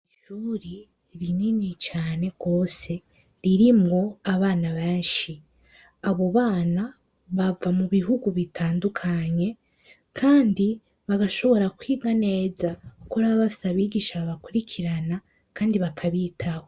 Ishuri rinini cane rwose ririmwo abana benshi abo bana bava mu bihugu bitandukanye, kandi bagashobora kwiga neza, kuko raba basa abigisha babakurikirana, kandi bakabitaho.